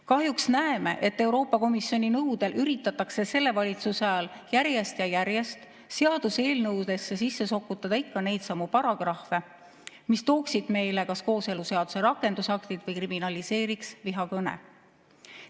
Kahjuks näeme, et Euroopa Komisjoni nõudel üritatakse selle valitsuse ajal järjest ja järjest seaduseelnõudesse sisse sokutada ikka neidsamu paragrahve, mis tooksid meile kas kooseluseaduse rakendusaktid või kriminaliseeriks vihakõne.